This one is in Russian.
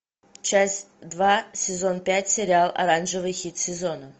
часть два сезон пять сериал оранжевый хит сезона